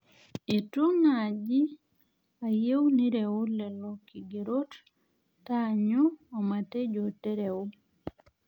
eitu naaji ayieu nireu lelo kigerot taanyu omatejo tereu